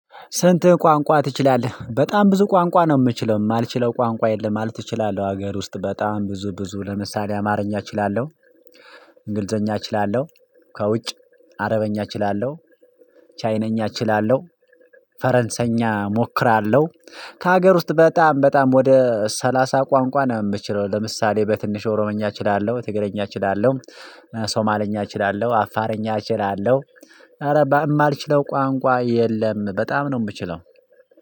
ስንት? ቋንቋ ትችላለህ በጣም ብዙ ቋንቋ ነው የምችለው የማልችለው ቋንቋ የለም ማለት ትችላለህ ሀገር ውስጥ በጣም ብዙ ብዙ ለምሳሌ አማርኛ እችላለሁ። እንግልዘኛ እችላለሁ። ከውጭ አረበኛ እችላለሁ። ቻይነኛ እችላለሁ። ፈረንሳየኛ እሞክራለሁ። ከሀገር ውስጥ በጣም በጣም ወደ ሰላሳ ቋንቋ ነው? የምትችለው ለምሳሌ በትንሽ ኦሮምኛ እችላለሁ ትግረኛ እችላለሁ። ሶማለኛ እችላለሁ አፋረኛ እችላለሁ። አረ ማልችለው ቋንቋ የለም በጣም ነው የምችለው።